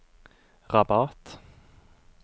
Rabat